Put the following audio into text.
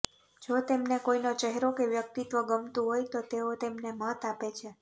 જો તેમને કોઈનો ચહેરો કે વ્યક્તિત્વ ગમતું હોય તો તેઓ તેમને મત આપે છે